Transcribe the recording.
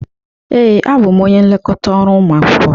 Ee, abụ m onye nlekọta ọrụ ụmụ akwụkwọ.